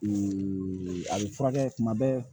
a bɛ furakɛ kuma bɛɛ